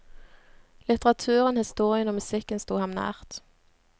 Litteraturen, historien og musikken sto ham nært.